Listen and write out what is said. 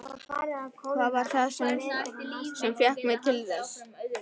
Hvað var það þá sem fékk mig til þess?